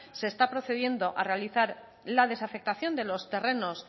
se está procediendo a realizar la desafectación de los terrenos